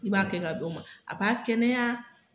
I b'a kɛ ka d'o ma a b'a kɛnɛya